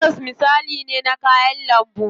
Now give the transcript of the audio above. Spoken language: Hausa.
Karas misali ne na kayan lambu.